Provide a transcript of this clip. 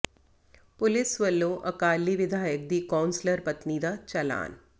police ਵੱਲੋਂ ਅਕਾਲੀ ਵਿਧਾਇਕ ਦੀ ਕੌਂਸਲਰ ਪਤਨੀ ਦਾ ਚਲਾਨ